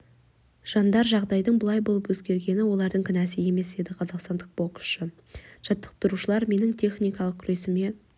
жандар жағдайдың бұлай болып өзгергені олардың кінәсі емес деді қазақстандық боксшы жаттықтырушылар менің техникалық күресіме